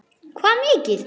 Hvað mikið?